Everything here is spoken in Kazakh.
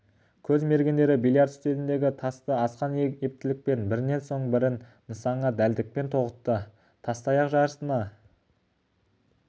көз мергендері бильярд үстеліндегі тасты асқан ептілікпен бірінен соң бірін нысанаға дәлдікпен тоғытты тастаяқ жарысына